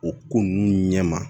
O ko ninnu ɲɛ ma